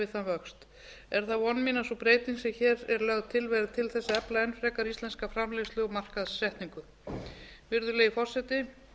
við þann vöxt er það von mín að sú breyting sem hér er lögð til verði til þess að efla enn frekar íslenska framleiðslu og markaðssetningu virðulegi forseti